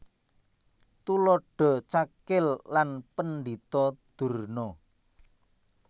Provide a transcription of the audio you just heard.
Tuladha Cakil lan Pendhita Durna